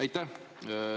Aitäh!